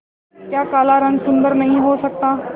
क्या काला रंग सुंदर नहीं हो सकता